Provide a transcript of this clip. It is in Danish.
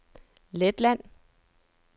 Letland